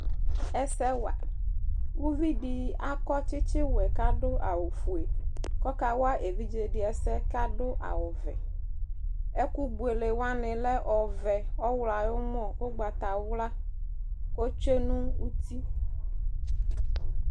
Ɛsɛwa Uvi dι akɔ tsιtsι wɛ kʋ adʋ awʋ fue kʋ ɔkawa evidze dι ɛsɛ kʋ adʋ awʋ vɛ Ɛkʋbuele wanι lɛ ɔɔvɛ, ɔɣlɔ ayʋ ʋmɔ, ʋgbatawla Otsyue nʋ uti